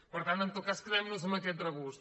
per tant en tot cas quedem nos amb aquest regust